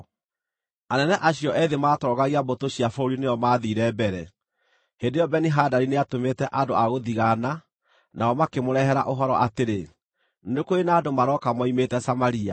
Anene acio ethĩ maatongoragia mbũtũ cia bũrũri nĩo maathiire mbere. Hĩndĩ ĩyo Beni-Hadadi nĩatũmĩte andũ a gũthigaana, nao makĩmũrehere ũhoro atĩrĩ, “Nĩ kũrĩ na andũ marooka moimĩte Samaria.”